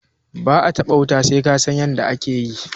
ba a taba wuta sai ka San yadda ake yi